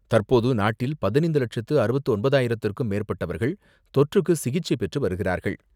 தற்போது நாட்டில் பதினைந்து லட்சத்து அறுபத்து ஒன்பதாயிரத்திற்கும் மேற்பட்டவர்கள் தொற்றுக்கு சிகிச்சை பெற்று வருகிறார்கள்.